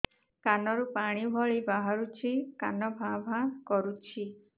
କାନ ରୁ ପାଣି ଭଳି ବାହାରୁଛି କାନ ଭାଁ ଭାଁ କରୁଛି